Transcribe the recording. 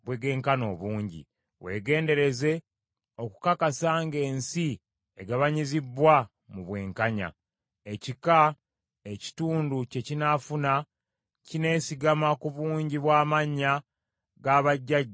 Weegendereze okukakasa ng’ensi egabanyizibbwa mu bwenkanya. Ekika, ekitundu kye kinaafuna kineesigama ku bungi bw’amannya ga bajjajja b’ekika ekyo.